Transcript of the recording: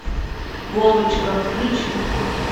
вовочка включи